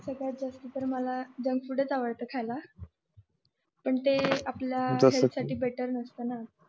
सगळ्यात जास्ती तर मला जंक फूड पण ते आपल्या बेटर नसत ना